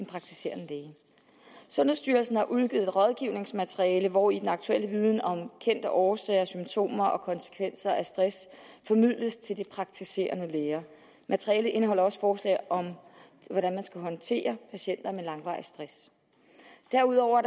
praktiserende læge sundhedsstyrelsen har udgivet rådgivningsmateriale hvori den aktuelle viden om kendte årsager symptomer og konsekvenser af stress formidles til de praktiserende læger materialet indeholder også forslag om hvordan man skal håndtere patienter med langvarig stress derudover